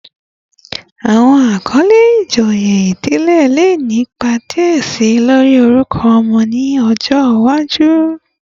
Awọn akọle ijoye idile le ni ipa diẹ si lori orukọ ọmọ ni ọjọ iwaju